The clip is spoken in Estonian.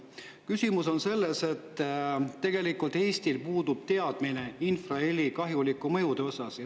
on selles, et tegelikult Eestil puudub teadmine infraheli kahjulike mõjude kohta.